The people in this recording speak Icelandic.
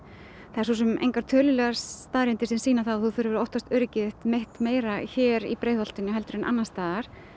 það eru svo sem engar tölulegar staðreyndir sem sýna að þú þurfir að óttast öryggi þitt meira hér í Breiðholtinu heldur en annars staðar